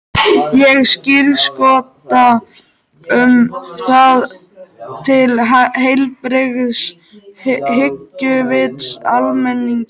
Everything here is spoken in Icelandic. Ég skírskota um það til heilbrigðs hyggjuvits almennings.